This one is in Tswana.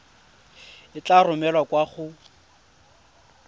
e tla romelwa kwa go